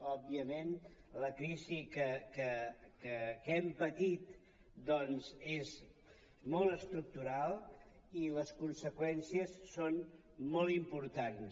òbviament la crisi que hem patit és molt estructural i les conseqüències són molt importants